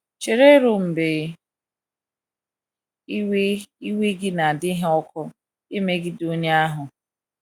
Chere ruo mgbe iwe iwe gị na - adịghị ọkụ ịmegide onye ahụ.